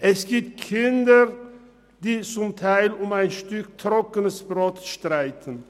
Es gibt Kinder, die zum Teil um ein Stück trockenes Brot streiten.